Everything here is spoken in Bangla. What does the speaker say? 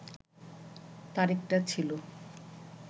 তারিখটা ছিল